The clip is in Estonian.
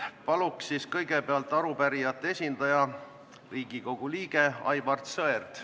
Paluks kõigepealt pulti arupärijate esindaja, Riigikogu liikme Aivar Sõerdi.